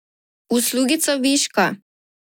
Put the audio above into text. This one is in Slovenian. Uslugica viška.